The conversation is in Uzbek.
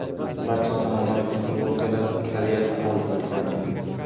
Barcha zamonaviy texnologiyalar Koreyadan olib kelinadi.